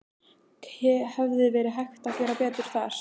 Hefði verið hægt að gera betur þar?